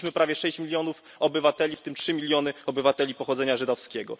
Straciliśmy prawie 6 milionów obywateli, w tym 3 miliony obywateli pochodzenia żydowskiego.